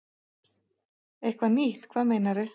Eitthvað nýtt, hvað meinarðu?